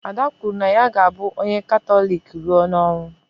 Ada kwuru na ya ga abụ onye Katọlik rụọ n'ọnwụ